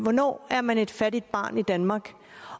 hvornår er man et fattigt barn i danmark